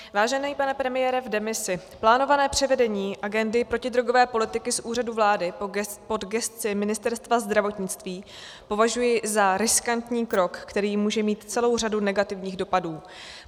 Vážený pane premiére v demisi, plánované převedení agendy protidrogové politiky z Úřadu vlády pod gesci Ministerstva zdravotnictví považuji za riskantní krok, který může mít celou řadu negativních dopadů.